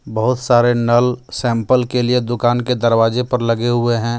बहुत सारे नल सैंपल के लिए दुकान के दरवाजे पर लगे हुए हैं.